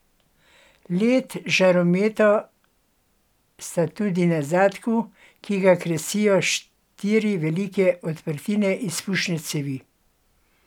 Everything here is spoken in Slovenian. Led žarometa sta tudi na zadku, ki ga krasijo štiri velike odprtine izpušne cevi.